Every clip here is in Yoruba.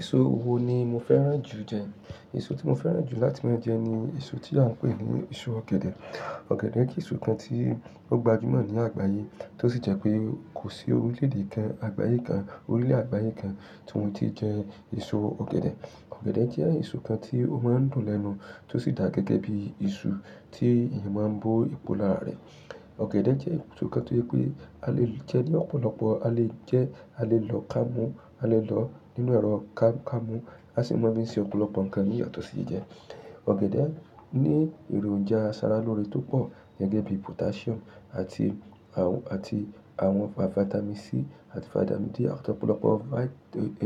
Èso wo ni mo fẹ́ràn jù jẹ? Èso tí mo fẹ́ràn jù láti máa ń jẹ ni èso tí a ń pè ní èso ọ̀gẹ̀dẹ̀. Ọ̀gẹ̀dẹ̀ kí èso kan tí ó gbajúmọ̀ ní àgbáyé, tó sì jẹ́ pé kò sí orílédé kan, àgbáyé kan, orílẹ̀ àgbáyé kan tí wọn ti jẹ èso ọ̀gẹ̀dẹ̀. Ọ̀gẹ̀dẹ̀ jẹ́ èso kan tí ó máa ń dùn lẹ́nu, tó sì dà gẹ́gẹ́ bí èso tí èèyàn máa ń bó ipò lára rẹ̀. Ọ̀gẹ̀dẹ̀ jẹ́ èso kan tó jẹ́ pé a lè jẹ ní ọ̀pọ̀lọpọ̀, a lè jẹ, a lè lọ ká mú, a lè lọ nínú ẹ̀rọ ká-kámú, a sì máa ń fi ṣe ọ̀pọ̀lọpọ̀ nǹkan ní ìyàtọ̀ sí ìjẹ. Ọ̀gẹ̀dẹ̀ ní èròjà aṣaralóore tó pọ̀ gẹ́gẹ́ bí potassium àti àwọn, àti àwọn vitamin C àti vitamin D àti ọ̀pọ̀lọpọ̀ vi-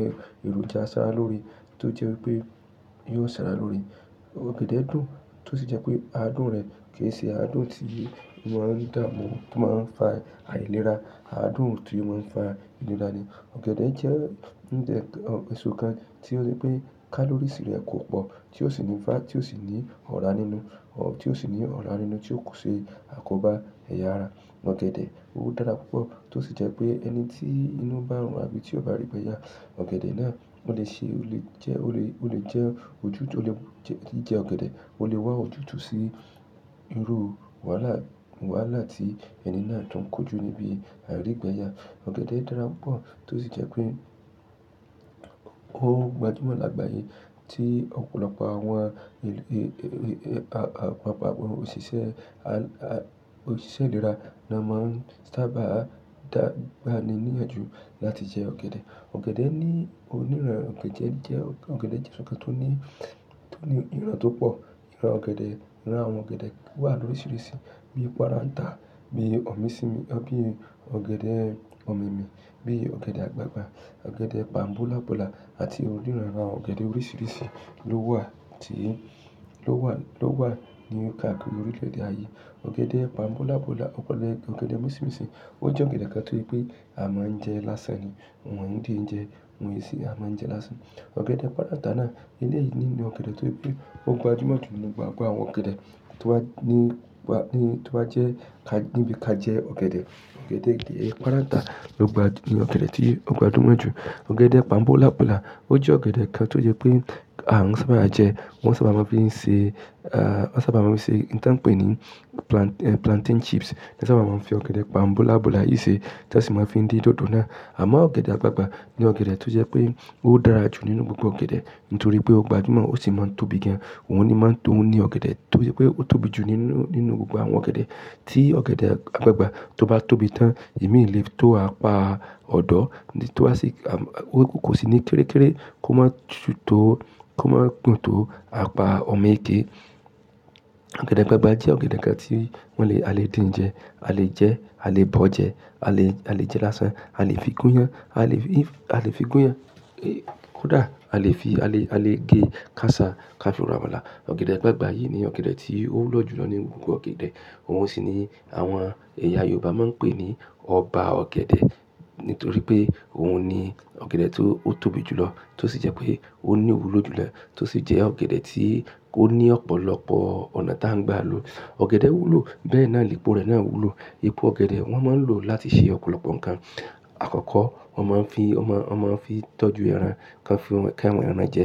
e, èròjà aṣaralóore tó jẹ́ pé yóò ṣara lóre. Ọ̀gẹ̀dẹ̀ dùn tó sì jẹ́ pé adùn rẹ̀ kì í ṣe adùn tí èèyàn máa ń dààmú tó máa ń fa àìlera, adùn tó máa ń fa ìlera ni. Ọ̀gẹ̀dẹ̀ jẹ́ ń jẹ ẹṣo kan tí ó jẹ́ pé kalories rẹ̀ kò pọ̀ tí ó sì ní fá tí ó sì ní ọ̀rá nínú, tí ó sì ní ọ̀rá nínú tí ó kò ṣe àkóbá ẹ̀yà ara. Ọ̀gẹ̀dẹ̀ ó dára púpọ̀ tó sì jẹ́ pé ẹni tí inú bá ń rùn àbí tí ó bá rígbẹyà, ọ̀gẹ̀dẹ̀ náà ó lè ṣe, ó lè jẹ́, ó lè, ó lè jẹ́ ojú, ó lè jẹ ọ̀gẹ̀dẹ̀, ó lè wá ojú tu sí irú wàhálà, wàhálà tí ẹni náà tó ń kojú níbi àrígbẹyà. Ọ̀gẹ̀dẹ̀ dára púpọ̀ tó sì jẹ́ pé ó gbajúmọ̀ lágbàyé tí ọ̀pọ̀lọpọ̀ àwọn ẹ̀, àwọn òṣìṣẹ́, à, òṣìṣẹ́ ìlera ni a máa ń sábà dába ni níyànjú láti jẹ ọ̀gẹ̀dẹ̀. Ọ̀gẹ̀dẹ̀ ní onírọ́rùn ọ̀gẹ̀dẹ̀ jẹ́, ọ̀gẹ̀dẹ̀ jẹ́ ǹkan tó ní, tó ní ìran tó pọ̀. Ìran ọ̀gẹ̀dẹ̀, irun àwọn ọ̀gẹ̀dẹ̀ wà loríṣiríṣi bíi párántà, bíi ọ̀míṣìmí, ẹ́ bí ọ̀gẹ̀dẹ̀ ọ̀mímì, bí ọ̀gẹ̀dẹ̀ àgbagbà, ọ̀gẹ̀dẹ̀ pàmbúlápùlà àti oríran ran àwọn ọ̀gẹ̀dẹ̀ oríṣiríṣi ló wà tí, ló wà, ló wà ní káàkiri orílẹ̀-èdè ayé. Ọ̀gẹ̀dẹ̀ pàmbúlápùlà, ọ̀pọ̀lọpọ̀ ọ̀gẹ̀dẹ̀ mìíràn sì ó jẹ́ ọ̀gẹ̀dẹ̀ kan tó pé a máa ń jẹ lásán ni. Àwọn ònídi ń jẹ, àwọn èsì a máa ń jẹ lásán. Ọ̀gẹ̀dẹ̀ párántà náà ni ilé yìí ni ọ̀gẹ̀dẹ̀ tó pé ó gbajúmọ̀ jù nínú gbogbo àwọn ọ̀gẹ̀dẹ̀ tó wà ní, tó wà jẹ́ ká, níbi ká jẹ ọ̀gẹ̀dẹ̀. Ọ̀gẹ̀dẹ̀ kìí, párántà ló gba ní ọ̀gẹ̀dẹ̀ tí ó gbajúmọ̀ jù. Ọ̀gẹ̀dẹ̀ pàmbúlápùlà ó jẹ́ ọ̀gẹ̀dẹ̀ kan tó jẹ́ pé a sábà máa ń jẹ, wọn sábà máa ń fi ṣe, ah, wọ́n sábà máa ń fi ṣe nǹkan pé ní plant, plantain chips. Wọ́n sábà máa ń fi ọ̀gẹ̀dẹ̀ pàmbúlápùlà yìí ṣe tí won sì máa ń fi dín dòdò náà. Àmọ́ ọ̀gẹ̀dẹ̀ àgbagbà ni ọ̀gẹ̀dẹ̀ tó jẹ́ pé ó dára jù nínú gbogbo ọ̀gẹ̀dẹ̀ nítorí pé ó gbajúmọ̀ ó sì máa ń tóbi gan. Òhun ni máa ń tóbi ní ọ̀gẹ̀dẹ̀ tó jẹ́ pé ó tóbi jù nínú, nínú gbogbo àwọn ọ̀gẹ̀dẹ̀. Tí ọ̀gẹ̀dẹ̀ àgbagbà tó bá tóbi tán, èmi lè tó apá ọ̀dọ́ tí ó sì, ó kò sì ní kéré kéré kó má ṣú tó, kó má gùn tó apá ọ̀mẹ́kẹ́. Ọ̀gẹ̀dẹ̀ àgbagbà jẹ́ ọ̀gẹ̀dẹ̀ kan tí wọ́n le, a lè dín jẹ, a lè jẹ, a lè bọ̀ jẹ, a lè, a lè jẹ lásán, a lè fi gún ìyàn, a lè fi, a lè fi gún ìyàn, koda a lè fi, a lè gé káàṣà káṣú rọ̀amalà. Ọ̀gẹ̀dẹ̀ àgbagbà yìí ni ọ̀gẹ̀dẹ̀ tí ó wúlò jùlọ nínú gbogbo ọ̀gẹ̀dẹ̀. Houn sì ni àwọn ẹ̀yà Yorùbá máa ń pè ní ọba ọ̀gẹ̀dẹ̀ nítorí pé hòun ni ọ̀gẹ̀dẹ̀ tó, ó tóbi jùlọ tó sì jẹ́ pé ó ní ìwúlò jùlọ tó sì jẹ́ ọ̀gẹ̀dẹ̀ tí ó ní ọ̀pọ̀lọpọ̀ ọ̀nà tí a ń gba lò. Ọ̀gẹ̀dẹ̀ wúlò bẹ́ẹ̀ náà, ìpò rẹ̀ náà wúlò. Ipo ọ̀gẹ̀dẹ̀ wọ́n máa ń lò láti ṣe ọ̀pọ̀lọpọ̀ nǹkan. Àkọ́kọ́, wọ́n máa ń fi, wọ́n máa, wọ́n máa ń fi tọ́jú ẹran, kan fi, káwọn ẹran jẹ.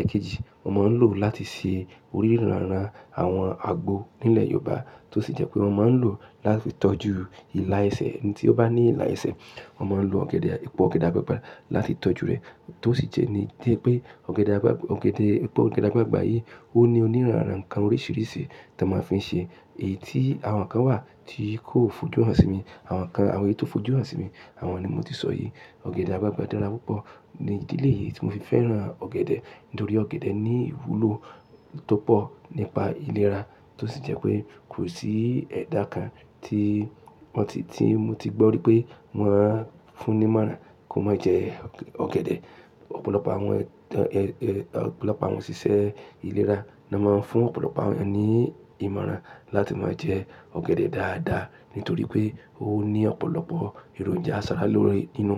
Ẹ̀kejì, wọ́n máa ń lò láti ṣe oríranra àwọn àgbo nílẹ̀ Yorùbá tó sì jẹ́ pé wọ́n máa ń lò láti tọ́jú ìlà ẹsẹ̀ ẹni tí ó bá ní ìlà ẹsẹ̀. Wọ́n máa ń lo ọ̀gẹ̀dẹ̀, ipò ọ̀gẹ̀dẹ̀ àgbagbà láti tọ́jú rẹ̀ tó sì jẹ́ ní, jẹ́ pé ọ̀gẹ̀dẹ̀ àgbagbà, ọ̀gẹ̀dẹ̀, ipò ọ̀gẹ̀dẹ̀ àgbagbà yìí ó ní oníranran ǹkan oríṣiríṣi tí a máa ń fi ṣe. Èyí tí àwọn kan wà tí kò fojú hàn sí mi, àwọn kan, àwọn èyí tó fojú hàn sí mi, àwọn ni mo ti sọ yìí. Ọ̀gẹ̀dẹ̀ àgbagbà dára púpọ̀ ni ilé yìí tí mo fi fẹ́ràn ọ̀gẹ̀dẹ̀ nítorí ọ̀gẹ̀dẹ̀ ní ìwúlò tó pọ̀ nípa ìlera tó sì jẹ́ pé kò sí ẹ̀dà kan tí wọ́n ti, tí mo ti gbọ́ wípé wọ́n á fún ní ìmọ̀ràn kó má jẹ ọ̀gẹ̀dẹ̀. Ọ̀pọ̀lọpọ̀ àwọn ẹ̀, ẹ̀, ọ̀pọ̀lọpọ̀ àwọn òṣìṣẹ́ ìlera ni a máa ń fún ọ̀pọ̀lọpọ̀ àwọn ènìyàn ní ìmọ̀ràn láti máa jẹ ọ̀gẹ̀dẹ̀ dáadáa nítorí pé ó ní ọ̀pọ̀lọpọ̀ èròjà aṣaralóore nínú.